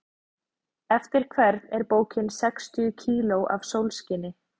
Eftir hvern er bókin Sextíu kíló af sólskini?